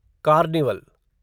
carnival